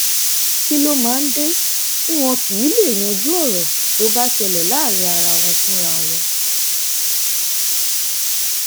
kí ló máa ń dé tí wọn kì í lèé yanjú ọrọ tó bá ṣẹlẹ láàrin wọn fúnra wọn